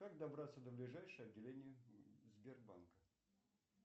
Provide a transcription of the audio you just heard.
как добраться до ближайшего отделения сбербанка